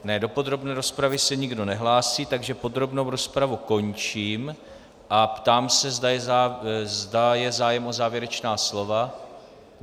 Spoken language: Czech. Ne, do podrobné rozpravy se nikdo nehlásí, takže podrobnou rozpravu končím a ptám se, zda je zájem o závěrečná slova.